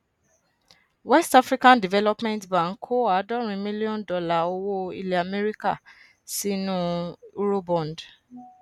west african development bank kó àádọrin mílíọnù dọlà owó ilẹ amẹríkà sínú eurobond